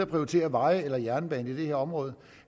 prioritere veje eller jernbane i det her område